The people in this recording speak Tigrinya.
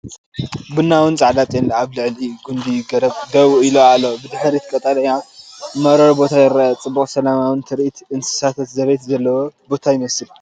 ቡናውን ጻዕዳን ጤል ኣብ ልዕሊ ጕንዲ ገረብ ደው ኢሉ ኣሎ። ብድሕሪት ቀጠልያ መሮር ቦታ ይርአ። ጽቡቕን ሰላማውን ትርኢት እንስሳታት ዘቤት ዘለዎ ቦታ ይመስል፡፡